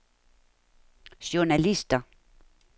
journalister